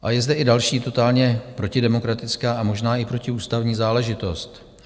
A je zde i další totálně protidemokratická a možná i protiústavní záležitost.